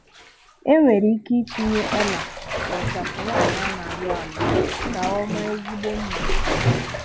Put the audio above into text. E nwere ike itinye ọ́là n'ịchafụ nwaanyị a na-alụ alụ ka ọ maa ezigbo mma.